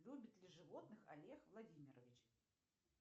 любит ли животных олег владимирович